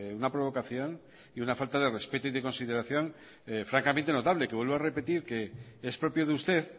una provocación y una falta de respeto y de consideración francamente notable que vuelvo a repetir que es propio de usted